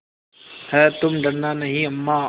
हैतुम डरना नहीं अम्मा